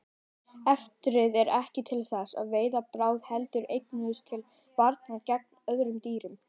Eitrið er ekki til þess að veiða bráð heldur einungis til varnar gegn öðrum dýrum.